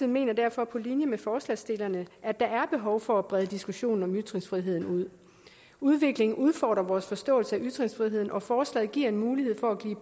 mener derfor på linje med forslagsstillerne at der er behov for at brede diskussionen om ytringsfriheden ud udviklingen udfordrer vores forståelse af ytringsfriheden og forslaget giver en mulighed for